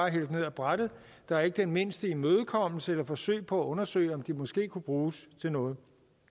hældt ned af brættet der er ikke den mindste imødekommenhed eller forsøg på at undersøge om de måske kunne bruges til noget